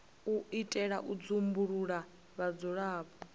u itela u dzumbulula vhudzulapo